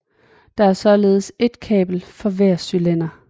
Der er således ét kabel for hver cylinder